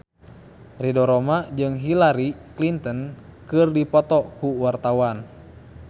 Ridho Roma jeung Hillary Clinton keur dipoto ku wartawan